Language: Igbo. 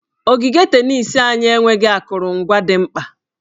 Ogige tenis anyị enweghị akụrụngwa dị mkpa.